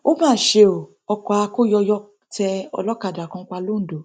ó mà ṣe o ọkọ akóyọyọ tẹ olókàdá kan pa lọńdọ